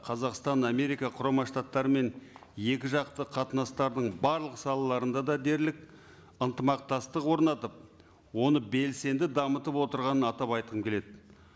қазақстан америка құрама штаттарымен екі жақты қатынастардың барлық салаларында да дерлік ынтымақтастық орнатып оны белсенді дамытып отырғанын атап айтқым келеді